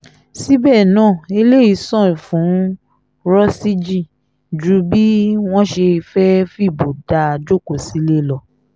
síbẹ̀ náà eléyìí ṣàn fún rọ́síjì ju bí wọ́n ṣe fẹ́ẹ́ fìbò dá a jókòó sílé lọ